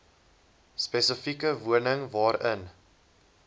spesifieke woning waarin